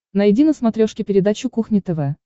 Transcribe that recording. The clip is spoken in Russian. найди на смотрешке передачу кухня тв